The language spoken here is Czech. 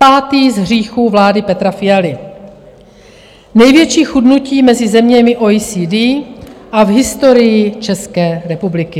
Pátý z hříchů vlády Petra Fialy - největší chudnutí mezi zeměmi OECD a v historii České republiky.